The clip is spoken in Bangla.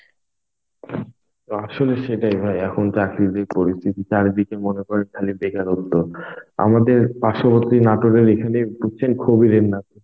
তো আসলে সেটাই হয়. এখন চাকরির যে পরিস্থিতি.চারিদিকে মনে করে খালি বেকারত্ব. আমাদের পার্শ্ববর্তী নাটোরে বুঝছেন এখানে খুবই